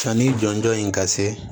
Sanni jɔnjɔn in ka se